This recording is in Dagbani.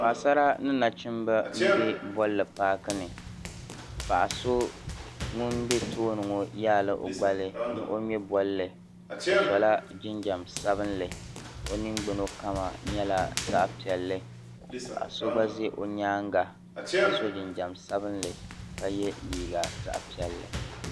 Paɣa sara ni nachimbi n be bɔli paakini paɣa so ŋun be tooni ŋɔ yaala ɔ gbali ni ɔ ŋme bɔli ɔcsola jinjam sabinli ɔ ningbuna kama nyala zaɣi piɛli paɣa so gba ʒi ɔ nyaaŋa ka so jinjam sabinli ka ye liiga zaɣi piɛli